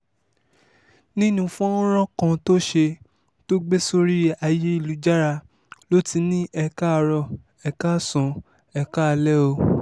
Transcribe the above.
nínú fọ́nrán kan tó ṣe tó gbé sórí ayélujára ló ti ní e káàárò ẹ̀ káàsán ẹ̀ kaalẹ̀ o